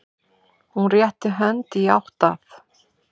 Hún réttir hönd í átt að